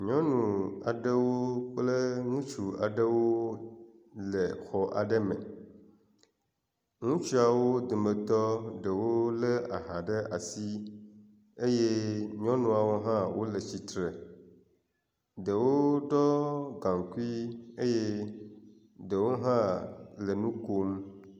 Nyɔnu aɖewo kple ŋutsu aɖewo le xɔ aɖe me ŋutsuawo dometɔ ɖewo le aha ɖe asi eye nyɔnuawo hã wo le tsitre ɖewo ɖɔ gaŋkui eye ɖewo hã le nu kom.